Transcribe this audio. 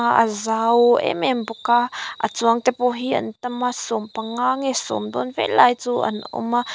a zau em em bawka a chuang te pawh hi an tam a sawmpanga nge sawm dawn vel lai chu an awma--